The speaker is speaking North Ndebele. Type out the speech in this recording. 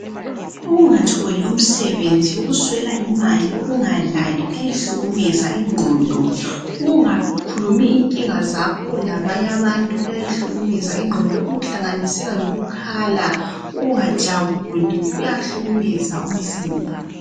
Ukungatholi umsebenzi, ukuswela imali lokungalali, kuyayahlukumeza ingqondo. Ukungakhulumi inkinga zakho labanye abantu kuyayihlukumeza ingqondo. Lokhu kuhlanganisela lokukhala, ukungajabuli, kuyahlukumeza umzimba